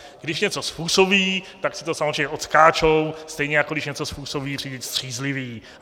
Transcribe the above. Když něco způsobí, tak si to samozřejmě odskáčou, stejně jako když něco způsobí řidič střízlivý.